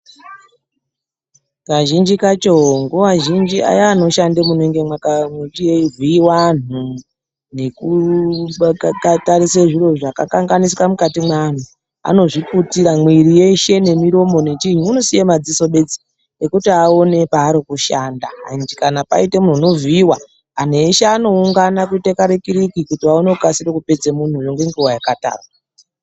Kazhinji kacho, nguwa zhinji aya anoshande munenge mweivhiiwa anhu nekutarisa zviro zvakakanganisika mukati mweanhu anozviputira mwiri yeshe nemiromo nechiinyi, unosiye madziso bedzi ekuti uone paari kushanda ende kana paite munhu unovhiiwa anhu eshe anoungana kuite karikiriki kuti aone kukasire kupedze munhu uyo ngenguwa yakatarwa.